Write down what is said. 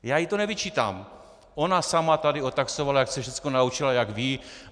Já jí to nevyčítám, ona sama tady otaxtovala, jak se všechno naučila, jak ví.